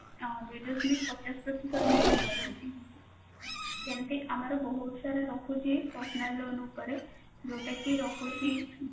ଆ ଦୁଇ ଦଶମିକ ପଚାଶ ପ୍ରତିଶତ ରୁ ଅଧିକ ରହୁଛି ସେମିତି ଆମର ବହୁତ ସାରା ରହୁଛି personal loan ଉପରେ ଯୋଉଟା କି ରହୁଛି